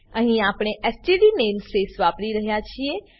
અહીં આપણે STD namespace વાપરી રહ્યા છીએ